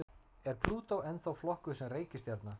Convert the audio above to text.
Er Plútó ennþá flokkuð sem reikistjarna?